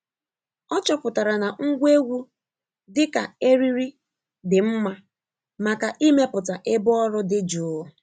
Ọ chọpụtara na ngwa egwu dị ka eriri dị mma maka ịmepụta ebe ọrụ dị jụụ.